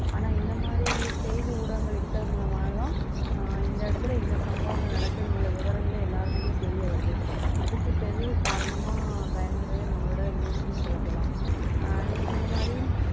ஆனா இந்த மாதிரி செய்தி ஊடகங்கள் இருக்கிறது மூலமா தான் அஹ் இந்த இடத்துல இந்த சம்பவங்கள் நடக்குதுன்னு உள்ள விவரங்களே எல்லாருக்குமே தெரிய வருது அதுக்கு காரணமா நம்மளோட news னு சொல்ல போலாம் அஹ் நீங்க சொன்ன மாதிரி